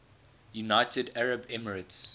united arab emirates